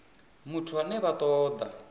muthu ane vha ṱo ḓa